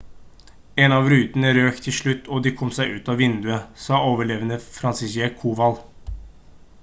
«en av rutene røk til slutt og de kom seg ut av vinduet» sa overlevende franciszek kowal